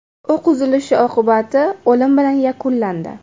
O‘q uzilishi oqibati o‘lim bilan yakunlandi.